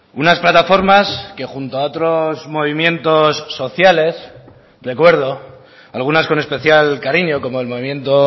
unas plataformas que junto a otros movimientos sociales recuerdo algunas con especial cariño como el movimiento